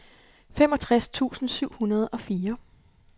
femogtres tusind syv hundrede og fire